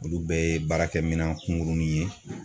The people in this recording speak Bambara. Olu bɛɛ ye baarakɛminɛn kunkurunin ye.